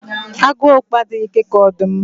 Agu okpo adịghị ike ka ọdụm